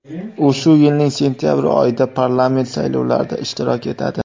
U shu yilning sentyabr oyida parlament saylovlarida ishtirok etadi.